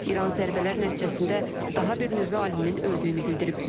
İran zərbələr nəticəsində daha bir nüvə aliminin öldüyünü bildirib.